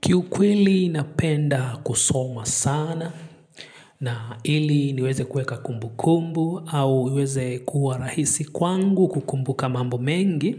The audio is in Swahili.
Kiukweli ninapenda kusoma sana na ili niweze kuweka kumbu kumbu au iweze kuwa rahisi kwangu kukumbuka mambo mengi.